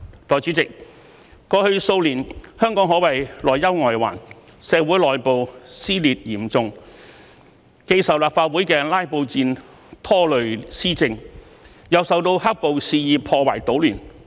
代理主席，過去數年，香港可謂內憂外患：社會內部撕裂嚴重，既受立法會的"拉布戰"拖累施政，又受到"黑暴"肆意破壞搗亂。